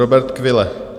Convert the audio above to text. Robert Kvile.